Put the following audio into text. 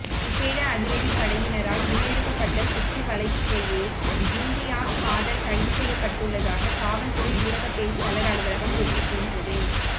விசேட அதிரடி படையினரால் முன்னெடுக்கப்பட்ட சுற்றி வளைப்பிலேயே இம்தியாஸ் காதர் கைது செய்யப்பட்டுள்ளதாக காவல்துறை ஊடகப் பேச்சாளர் அலுவலகம் தெரிவிக்கின்றது